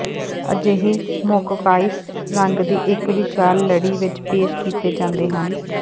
ਅਜਿਹੇ ਮੋਕਕਾਇੰਸ ਰੰਗ ਦੀ ਇੱਕ ਵਿਸ਼ਾਲ ਲੜੀ ਵਿੱਚ ਪੇਸ਼ ਕੀਤੇ ਜਾਂਦੇ ਹਨ